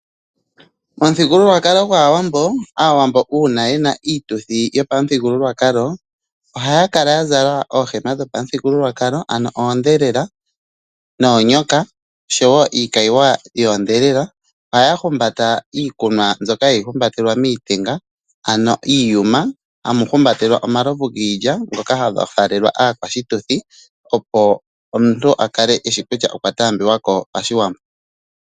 Omuthigulukalo gwaAwambo ,Aawambo uuna yena iituthi yopamuthigululwakalo ohaya kala ya zala oohema dhopamuthigululwakalo ano oodhelela noonyoka oshowo iikayiwa yoodhelela ohaya humbata iikumwa mbyoka hayi humbatelwa miitenga ano iiyuma hamu haumbatelwa omalovu giilya ngika haga faalelwa aakwashituthi opo omuntu a kale eshi kutya okwataambulwa ko pashiwambo